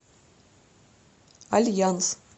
альянс